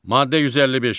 Maddə 155.